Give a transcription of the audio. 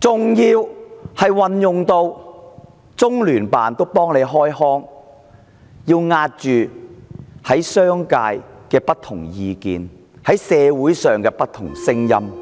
更動用中央人民政府駐香港特別行政區聯絡辦公室為她開腔，壓抑商界、社會的不同聲音。